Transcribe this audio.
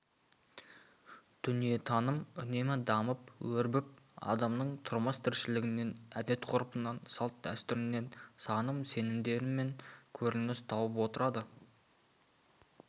дүниетаным үнемі дамып өрбіп адамның тұрмыс-тіршілігінен әдет-ғұрпынан салт-дәстүрінен наным-сенімінен көрініс тауып отырады